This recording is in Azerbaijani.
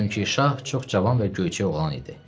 Çünki şah çox cavan və göyçək oğlan idi.